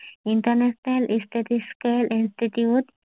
Internet statistical institute